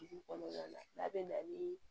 Dugu kɔnɔna na n'a bɛ na ni